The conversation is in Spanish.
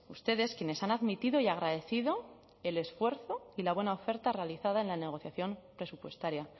ustedes quienes han admitido y agradecido el esfuerzo y la buena oferta realizada en la negociación presupuestaria